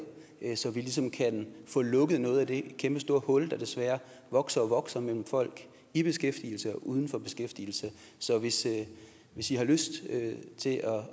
så vi ligesom kan få lukket noget af det kæmpestore hul der desværre vokser og vokser mellem folk i beskæftigelse og uden for beskæftigelse så hvis i hvis i har lyst til at